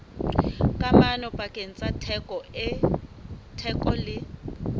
kamano pakeng tsa theko le